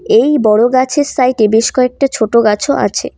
এই বড় গাছের সাইট -এ বেশ কয়েকটা ছোট গাছও আছে।